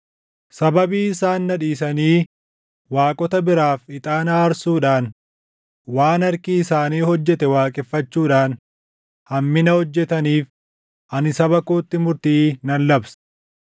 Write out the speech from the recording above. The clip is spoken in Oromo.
Sababii isaan na dhiisanii waaqota biraaf ixaana aarsuudhaan waan harki isaanii hojjete waaqeffachuudhaan hammina hojjetaniif ani saba kootti murtii nan labsa.